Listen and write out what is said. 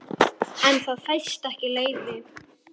En það fæst ekki leyfi.